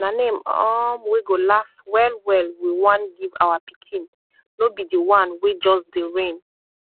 na name um wey go las wellwell wi wan giv awa pikin nor bi di one wey juz dey reign